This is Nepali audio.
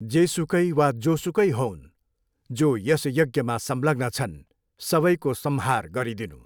जेसुकै वा जोसुकै होऊन्, जो यस यज्ञमा संलग्न छन्, सबैको संहार गरिदिनू।